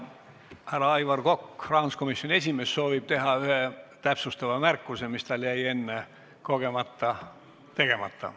Härra Aivar Kokk, rahanduskomisjoni esimees, soovib teha ühe täpsustava märkuse, mis tal jäi enne kogemata tegemata.